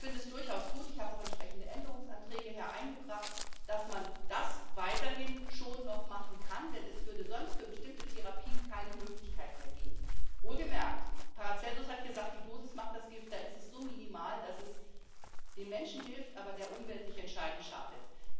Ich finde es durchaus gut ich habe auch entsprechende Änderungsanträge hier eingebracht dass man das weiterhin schon noch machen kann, denn es würde sonst für bestimmte Therapien keine Möglichkeit mehr geben. Wohlgemerkt Paracelsus hat gesagt, die Dosis macht das Gift. Da ist es so minimal, dass es den Menschen hilft, aber der Umwelt nicht entscheidend schadet.